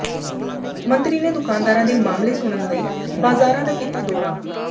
ਮੰਤਰੀ ਨੇ ਦੁਕਾਨਦਾਰਾਂ ਦੇ ਮਸਲੇ ਸੁਣਨ ਲਈ ਬਾਜ਼ਾਰਾਂ ਦਾ ਕੀਤਾ ਦੌਰਾ